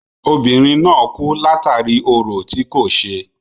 Obìnrin náà kú látàri orò tí kò ṣe.